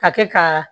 A kɛ ka